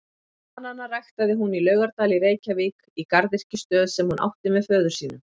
Bananana ræktaði hún í Laugardal í Reykjavík í garðyrkjustöð sem hún átti með föður sínum.